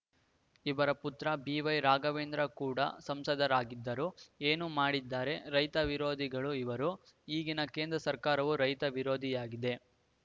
ಇವರ ಪುತ್ರ ಬಿವೈರಾಘವೇಂದ್ರ ಕೂಡ ಸಂಸದರಾಗಿದ್ದರು ಏನು ಮಾಡಿದ್ದಾರೆ ರೈತ ವಿರೋಧಿಗಳು ಇವರು ಈಗಿನ ಕೇಂದ್ರ ಸರ್ಕಾರವೂ ರೈತ ವಿರೋಧಿಯಾಗಿದೆ